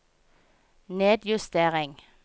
nedjustering